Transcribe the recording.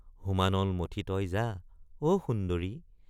হোমানল মথি তই যা—অ সুন্দৰি!